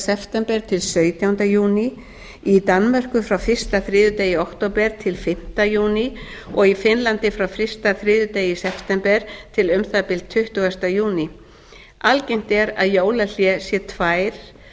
september til sautjánda júní í danmörku frá fyrsta þriðjudegi í október til fimmta júní og í finnlandi frá fyrsta þriðjudegi í september til um það bil tuttugasta júní algengt er að jólahlé sé tvær